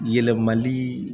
Yɛlɛmali